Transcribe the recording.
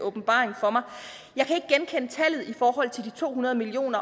åbenbaring for mig i forhold til de to hundrede million